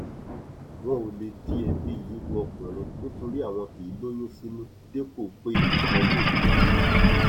wọn ò lè di ẹbí yìí ru ọkùnrin nítorí àwọn kì í lóyún sínú dépò pé wọn yóò bímọ